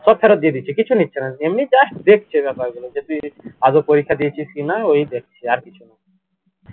সব ফেরত দিয়ে দিচ্ছে কিছু নিচ্ছে না এমনি just দেখছে গুলো যে তুই আদৌ পরীক্ষা দিয়েছিস কিনা ওই দেখছে আর কিছুনা